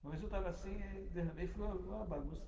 Uma vez eu estava assim, derramei e ficou uma bagunça.